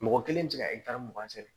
Mɔgɔ kelen tɛ se ka mugan sɛnɛ